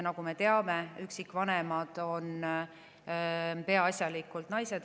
Nagu me teame, on üksikvanemad peaasjalikult naised.